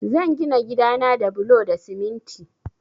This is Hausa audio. Zan gina gida na da bulo da siminti